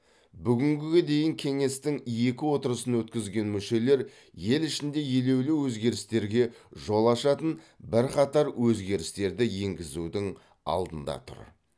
бүгінге дейін кеңестің екі отырысын өткізген мүшелер ел ішінде елеулі өзгерістерге жол ашатын бірқатар өзгерістерді енгізудің алдында тұр